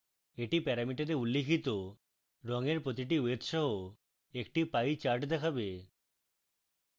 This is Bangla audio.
এটি প্যারামিটারে উল্লিখিত রঙের প্রতিটি wedge সহ একটি pie chart দেখাবে